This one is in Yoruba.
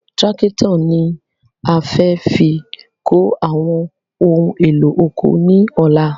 Tírákítọ̀ ni a fẹ́ fi kó àwọn ohun èlò oko ní ọ̀la